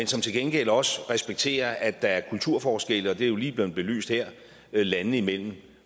til gengæld også respekterer at der er kulturforskelle og det er jo lige blevet belyst her landene imellem